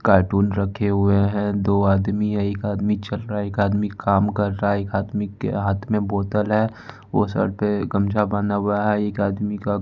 काटून रखे हुए हैं दो आदमी है एक आदमी चल रहा एक आदमी काम कर रहा है एक आदमी के हाथ में बोतल है वो सर पे गमछा बांधा हुआ है एक आदमी का --